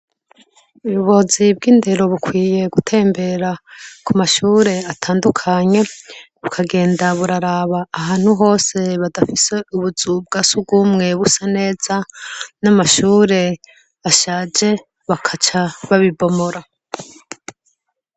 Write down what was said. Ubuyobozi bw'indero bukwiye gutembera ku mashure atandukanye, bukagenda buraraba ahantu hose badafite ubuzu bwa surwumwe busa neza, n'amashure ashaje bagaca babibomora.